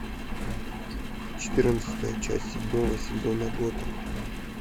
четырнадцатая часть седьмого сезона готэм